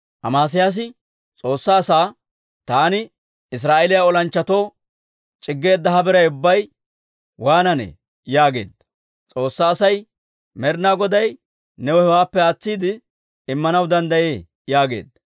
Amesiyaasi S'oossaa asaa, «Taani Israa'eeliyaa olanchchatoo c'iggeedda he biray ubbay waananee?» yaageedda. S'oossaa asay, «Med'inaa Goday new hewaappe aatsiide Immanaw danddayee» yaageedda.